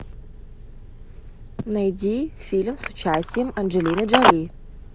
найди фильм с участием анджелины джоли